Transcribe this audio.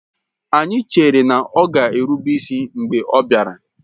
Anyị chere na ọ ga erụbe isi mgbe ọ bịara